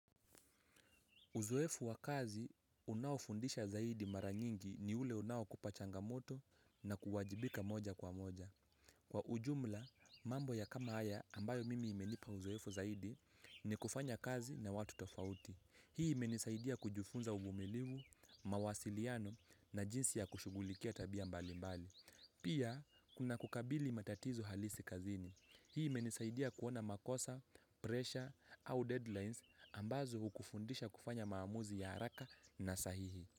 Uzoefu wa kazi, unaofundisha zaidi mara nyingi ni ule unaokupa changamoto na kuwajibika moja kwa moja. Kwa ujumla, mambo ya kama haya ambayo mimi imenipa uzoefu zaidi ni kufanya kazi na watu tofauti. Hii imenisaidia kujifunza uvumilivu, mawasiliano na jinsi ya kushughulikia tabia mbali mbali. Pia, kuna kukabili matatizo halisi kazini. Hii imenisaidia kuona makosa, pressure au deadlines ambazo hukufundisha kufanya maamuzi ya haraka na sahihi.